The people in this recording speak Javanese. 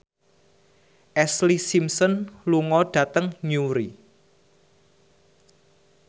Ashlee Simpson lunga dhateng Newry